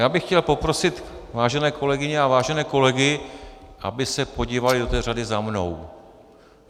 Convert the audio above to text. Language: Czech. Já bych chtěl poprosit vážené kolegyně a vážené kolegy, aby se podívali do té řady za mnou.